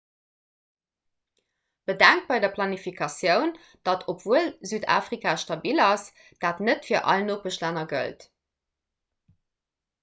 bedenkt bei der planifikatioun datt obwuel südafrika stabil ass dat net fir all nopeschlänner gëllt